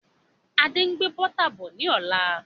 Adé ń gbé Bọ́tà bọ̀ ni ọ̀la.